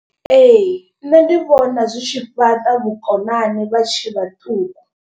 Ee nṋe ndi vhona zwi tshi fhaṱa vhukonani vha tshe vhaṱuku.